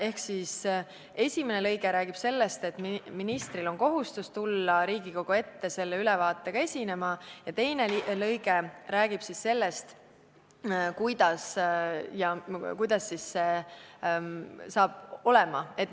Ehk siis esimene lõige räägib sellest, et ministril on kohustus tulla Riigikogu ette selle ülevaatega esinema, ja teine lõige räägib sellest, kuidas see siis välja näeb.